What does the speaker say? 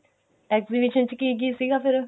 exhibition ਚ ਕੀ ਕੀ ਸੀਗਾ ਫੇਰ